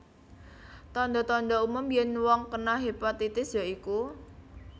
Tanda tanda umum yen wong kena hepatitis ya iku